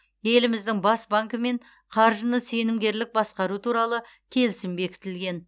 еліміздің бас банкімен қаржыны сенімгерлік басқару туралы келісім бекітілген